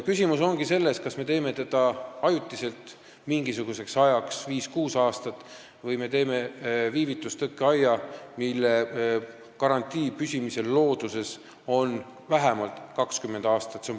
Küsimus ongi selles, kas me teeme seda ajutiselt, mingisuguseks ajaks, viieks-kuueks aastaks, või me teeme tõkkeaia, mille looduses püsimise garantii on vähemalt 20 aastat.